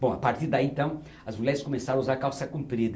Bom, a partir daí então, as mulheres começaram a usar calça comprida.